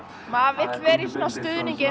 maður vill vera í svona stuðningi eins